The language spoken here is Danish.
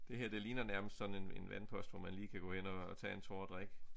Det her det ligner nærmest sådan en vandpost hvor man lige kan gå hen at tage en tår at drikke